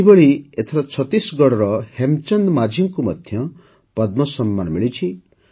ସେହିଭଳି ଏଥର ଛତିଶଗଡ଼ର ହେମଚନ୍ଦ ମାଂଝୀଙ୍କୁ ମଧ୍ୟ ପଦ୍ମ ସମ୍ମାନ ମିଳିଛି